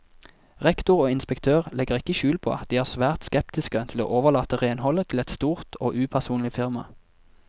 Rektor og inspektør legger ikke skjul på at de er svært skeptiske til å overlate renholdet til et stort og upersonlig firma.